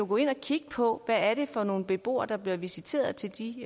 gå ind og kigge på hvad det er for nogle beboere der bliver visiteret til de